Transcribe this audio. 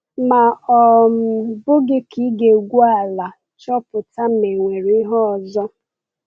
Ma ọ̀ um bụghị ka ị ga-egwu ala chọpụta ma e nwere ihe ọzọ?